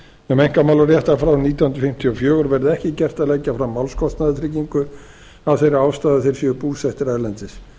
um einkamálarétt frá árinu nítján hundruð fimmtíu og fjögur verði ekki gert að leggja fram málskostnaðartryggingu af þeirri ástæðu að þeir séu búsettir erlendis